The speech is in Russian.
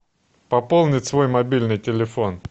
пополнить свой мобильный телефон